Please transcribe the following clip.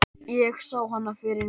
Ég sá hana fyrir mér.